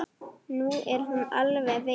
Nú er hún alveg veik.